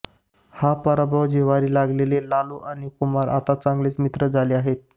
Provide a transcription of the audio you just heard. हा पराभव जिव्हारी लागलेले लालू आणि कुमार आता चांगले मित्र झाले आहेत